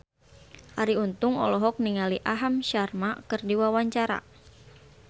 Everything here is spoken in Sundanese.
Arie Untung olohok ningali Aham Sharma keur diwawancara